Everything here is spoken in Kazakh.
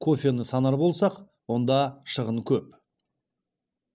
кофені санар болсақ онда шығын көп